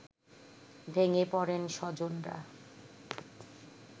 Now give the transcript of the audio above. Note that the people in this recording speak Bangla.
ভেঙে পড়েন স্বজনরা